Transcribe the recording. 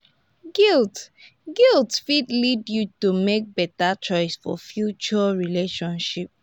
guilt guilt fit lead yu to mek beta choices for future relationships.